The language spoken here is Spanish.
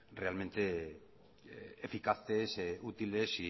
realmente eficaces útiles